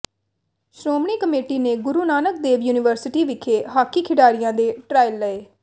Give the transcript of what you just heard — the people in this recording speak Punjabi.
ਸ਼੍ਰੋਮਣੀ ਕਮੇਟੀ ਨੇ ਗੁਰੂ ਨਾਨਕ ਦੇਵ ਯੂਨੀਵਰਸਿਟੀ ਵਿਖੇ ਹਾਕੀ ਖਿਡਾਰੀਆਂ ਦੇ ਟਰਾਇਲ ਲਏ